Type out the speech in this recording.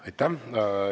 Aitäh!